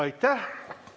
Aitäh!